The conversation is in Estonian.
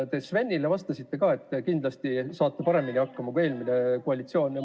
Te Svenile vastates ütlesite, et te kindlasti saate paremini hakkama kui eelmine koalitsioon.